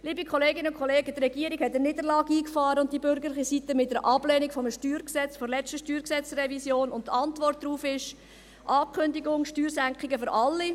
Liebe Kolleginnen und Kollegen, die Regierung und die bürgerliche Seite haben eine Niederlage eingefahren mit der Ablehnung des StG der letzten StG-Revision, und die Antwort darauf ist die Ankündigung von Steuersenkungen für alle.